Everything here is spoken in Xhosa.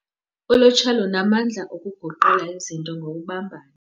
Ulutsha lunamandla okuguqula izinto ngokubumbana.